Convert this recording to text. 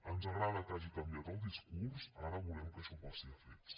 ens agrada que hagi canviat el discurs ara volem que això passi a fets